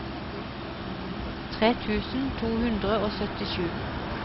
tre tusen to hundre og syttisju